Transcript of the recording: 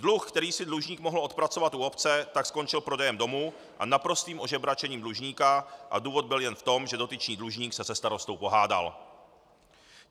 Dluh, který si dlužník mohl odpracovat u obce, tak skončil prodejem domu a naprostým ožebračením dlužníka a důvod byl jen v tom, že dotyčný dlužník se se starostou pohádal.